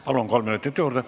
Palun, kolm minutit juurde!